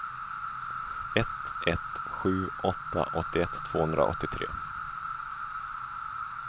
ett ett sju åtta åttioett tvåhundraåttiotre